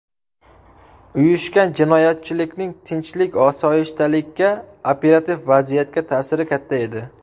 Uyushgan jinoyatchilikning tinchlik-osoyishtalikka, operativ vaziyatga ta’siri katta edi.